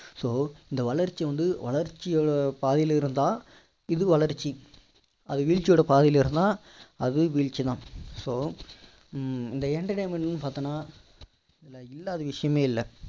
so இந்த வளர்ச்சி வந்து வளர்ச்சி பாதையில இருந்தா இது வளர்ச்சி அது விழ்ச்சியோட பாதையில இருந்தா அது விழ்ச்சிதான் so இந்த entertainment ன்னு பார்த்தீங்கன்னா இதுல இல்லாத விஷயமே இல்லை